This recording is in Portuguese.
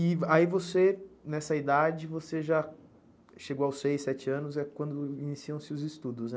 E aí você, nessa idade, você já chegou aos seis, sete anos, é quando iniciam-se os estudos, né?